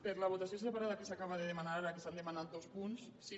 per a la votació separada que s’acaba de demanar que s’han demanat dos punts si